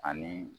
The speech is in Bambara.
Ani